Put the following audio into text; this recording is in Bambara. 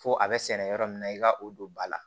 Fo a bɛ sɛnɛ yɔrɔ min na i ka o don ba la